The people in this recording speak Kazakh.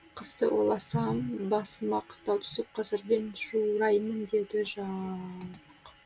қысты ойласам басыма қыстау түсіп қазірден жураймын деді жалбық